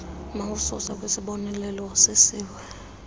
mawususwe kwisiboneleelo usisiwa